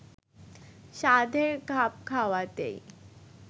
সাধের খাপ খাওয়াতেই